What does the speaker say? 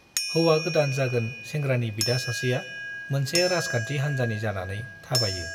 हौवा गोदान जागोन सेंग्रानि बिदा सासेआ मोनसे राजखान्थि हान्जानि जानानै थाबायो।